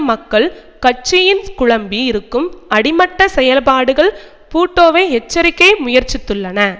மக்கள் கட்சியின் குழம்பி இருக்கும் அடிமட்ட செயல்பாடுகள் பூட்டோவை எச்சரிக்கை முயற்சித்துள்ளன